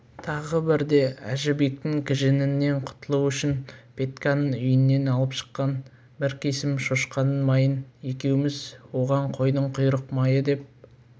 тағы бірде әжібектің кіжіңінен құтылу үшін петьканың үйінен алып шыққан бір кесім шошқаның майын екеуміз оған қойдың құйрық майы деп